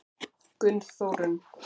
Gunnþórunn